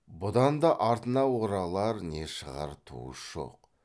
бұдан да артына оралар не шығар туыс жоқ